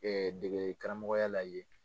dege degeli karamɔgɔya la yen.